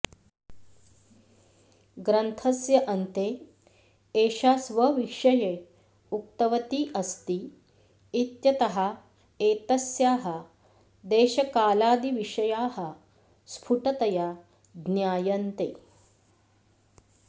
ग्रन्थस्य अन्ते एषा स्वविषये उक्तवती अस्ति इत्यतः एतस्याः देशकालादिविषयाः स्फुटतया ज्ञायन्ते